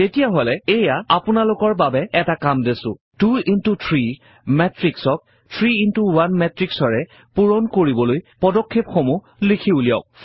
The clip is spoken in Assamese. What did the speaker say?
তেতিয়া হলে এইয়া আপোনালোকৰ বাবে এটা কাম দিছো 2শ্ব3 matrix ক 3শ্ব1 matrix ৰে পূৰণ কৰিবলৈ পদক্ষেপসমূহ লিখি উলিয়াওক